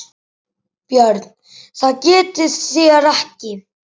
BJÖRN: Það getið þér ekki.